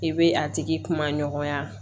I bɛ a tigi kuma ɲɔgɔnya